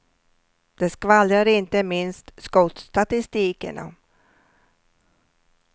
Det skvallrar inte minst skottstatistiken om.